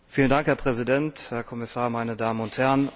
Herr Präsident, Herr Kommissar, meine Damen und Herren!